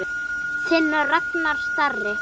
Þinn Ragnar Darri.